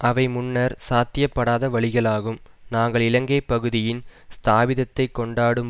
அவை முன்னர் சாத்தியப்படாத வழிகளாகும் நாங்கள் இலங்கை பகுதியின் ஸ்தாபிதத்தைக் கொண்டாடும்